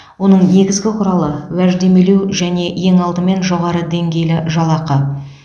оның негізгі құралы уәждемелеу және ең алдымен жоғары деңгейлі жалақы